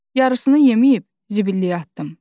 Yarısını yeməyib zibilliyə atdım.